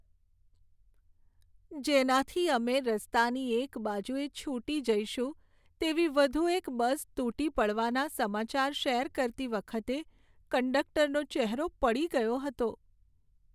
જેનાથી અમે રસ્તાની એક બાજુએ છૂટી જઈશું તેવી વધુ એક બસ તૂટી પડવાના સમાચાર શેર કરતી વખતે કંડક્ટરનો ચહેરો પડી ગયો હતો.